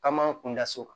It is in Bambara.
K'an m'an kun da so